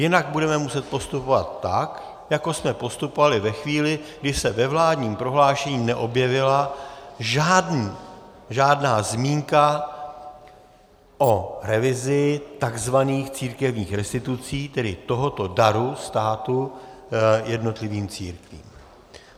Jinak budeme muset postupovat tak, jako jsme postupovali ve chvíli, kdy se ve vládním prohlášení neobjevila žádná zmínka o revizi tzv. církevních restitucí, tedy tohoto daru státu jednotlivým církvím.